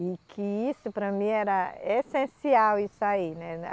E que isso para mim era essencial isso aí, né?